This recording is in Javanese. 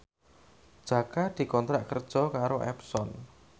Jaka dikontrak kerja karo Epson